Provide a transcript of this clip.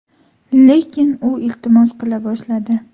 Lekin u iltimos qila boshladi.